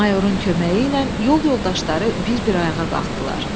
Mayorun köməyi ilə yol yoldaşları bir-bir ayağa qalxdılar.